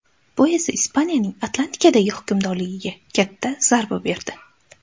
Bu esa Ispaniyaning Atlantikadagi hukmronligiga katta zarba berdi.